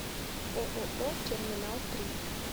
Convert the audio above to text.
ооо терминал три